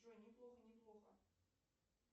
джой неплохо неплохо